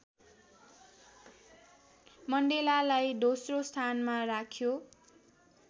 मण्डेलालाई दोस्रो स्थानमा राख्यो